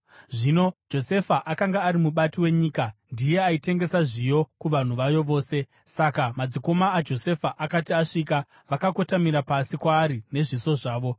Zvino Josefa akanga ari mubati wenyika; ndiye aitengesa zviyo kuvanhu vayo vose. Saka madzikoma aJosefa akati asvika, vakakotamira pasi kwaari nezviso zvavo.